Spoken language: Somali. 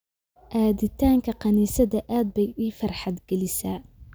Aaditaanka kaniisadda aad bay ii farxad gelisaa